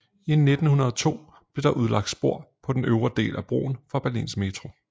I 1902 blev der udlagt spor på den øvre del af broen for Berlins metro